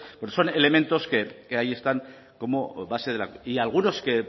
son elementos que ahí están como base y algunos que